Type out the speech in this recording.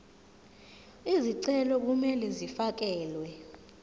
izicelo kumele zifakelwe